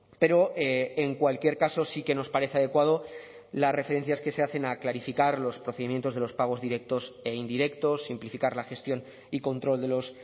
pero en cualquier caso sí que nos parece adecuado las referencias que se hacen a clarificar los procedimientos de los pagos directos e indirectos simplificar la gestión y control de los